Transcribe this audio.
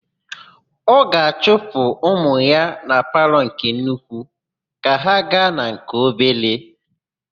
Ọ ga-achụpụ ụmụ ya na palọ nke nnukwu ka ha gaa na nke obere.